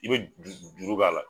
I bɛ juru k'a la.